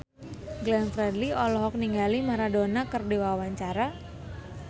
Glenn Fredly olohok ningali Maradona keur diwawancara